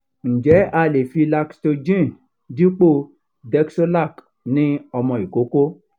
njẹ a le fi lactogen dipo dexolac ni ọmọ ikoko?